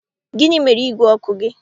Gịnị mere ígwè ọkụ gị?